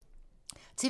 TV 2